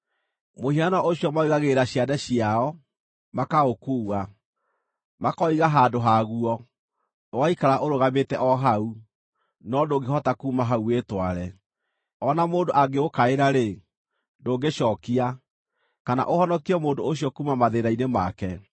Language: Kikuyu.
Mũhianano ũcio maũigagĩrĩra ciande ciao, makaũkuua; makaũiga handũ haguo, ũgaikara ũrũgamĩte o hau. No ndũngĩhota kuuma hau wĩtware. O na mũndũ angĩũkaĩra-rĩ, ndũngĩcookia, kana ũhonokie mũndũ ũcio kuuma mathĩĩna-inĩ make.